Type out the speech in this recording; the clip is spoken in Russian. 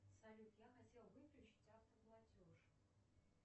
салют я хотел выключить автоплатеж